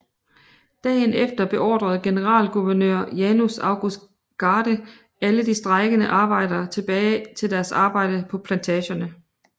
Dagen efter beordrede generalguvenør Janus August Garde alle de strejkende arbejdere tilbage til deres arbejde på plantagerne